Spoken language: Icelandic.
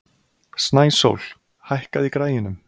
Snæsól, hækkaðu í græjunum.